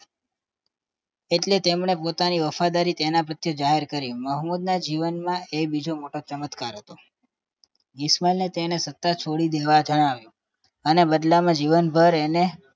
એટલે તેમને પોતાની વફાદારી તેના પ્રત્યે જાહેર કરી મોહમ્મદ ના જીવનમાં એ બીજો મોટો ચમત્કાર હતો ઈશમાલ તેને સતા છોડી દેવા જણાવ્યું બદલામાં તેને જીવનભર એને